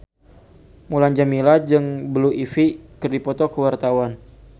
Mulan Jameela jeung Blue Ivy keur dipoto ku wartawan